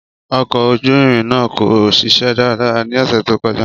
Ọkọ̀ ojú irin naa ko ṣiṣẹ daradara ni ọsẹ to kọja.